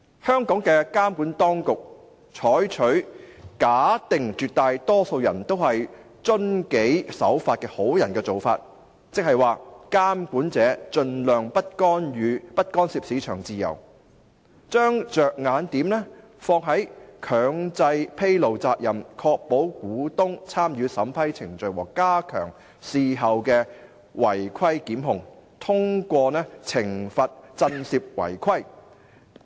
香港的監管當局採取"假定絕大多數人都是遵紀守法的好人"的做法，即"監管者盡量不干涉市場自由"，將着眼點放在"強制披露責任，確保股東[參與]審批程序和加強事後違規檢控，通過懲罰震懾違規"。